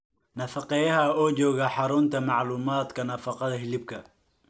nafaqeeyaha oo jooga Xarunta Macluumaadka Nafaqada Hilibka